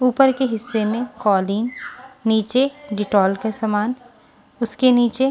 ऊपर के हिस्से में कॉलिंग नीचे डिटॉल के सामान उसके नीचे।